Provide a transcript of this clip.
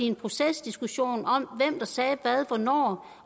en procesdiskussion om hvem der sagde hvad hvornår